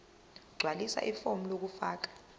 gqwalisa ifomu lokufaka